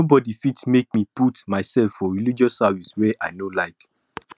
nobody fit make me to put myself for religious services where i no like